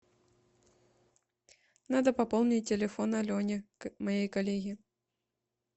надо пополнить телефон алене моей коллеге